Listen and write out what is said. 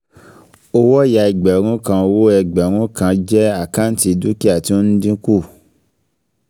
Owó ọ̀ya ẹgbẹ̀rún kan owó ẹgbẹ̀rún kan jẹ́ àkáǹtì dúkìá tí ó ń dínkù